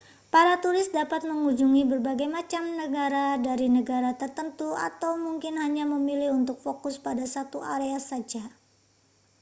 para turis dapat mengunjungi berbagai macam tengara dari negara tertentu atau mungkin hanya memilih untuk fokus pada satu area saja